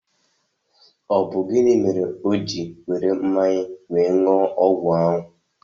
Ọ bụ gịnị mere o jị were mmanya wéé ṅụọ ọgwụ ahụ?